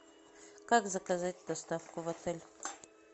как заказать доставку в отель